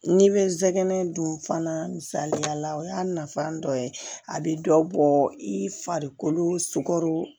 N'i bɛ zɛnɛ dun fana misaliyala o y'a nafa dɔ ye a bɛ dɔ bɔ i farikolo sukaro